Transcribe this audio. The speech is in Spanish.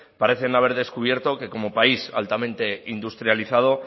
parecen haber descubierto que como país altamente industrializado